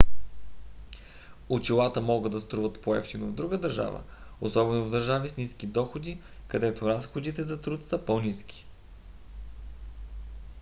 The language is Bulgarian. очилата може да струват по-евтино в друга държава особено в държави с ниски доходи където разходите за труд са по-ниски